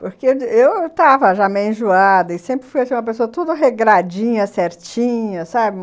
Porque eu estava já meio enjoada e sempre fui uma pessoa toda regradinha, certinha, sabe?